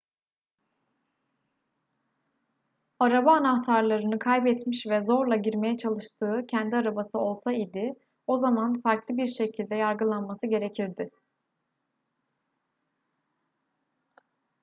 araba anahtarlarını kaybetmiş ve zorla girmeye çalıştığı kendi arabası olsa idi o zaman farklı bir şekilde yargılanması gerekirdi